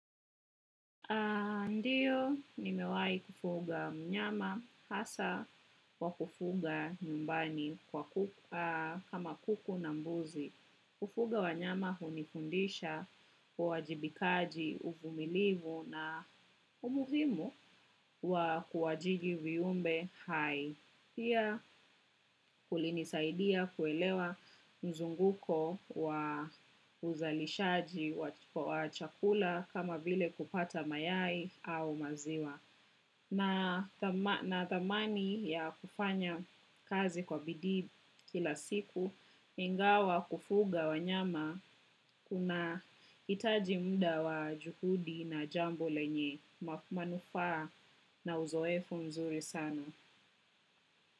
Ndiyo, nimewai kufuga mnyama hasa wa kufuga nyumbani kama kuku na mbuzi. Kufuga wa nyama hunifundisha, uwajibikaji, ufumilivu na umuhimu wa kuwajigi viyumbe hai. Pia kulinisaidia kuelewa mzunguko wa uzalishaji wa chakula kama vile kupata mayai au maziwa. Na thamani ya kufanya kazi kwa bidii kila siku, ingawa kufuga wanyama kuna itaji mda wa juhudi na jambo lenye, manufaa na uzoefu mzuri sana.